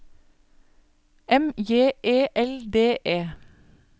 M J E L D E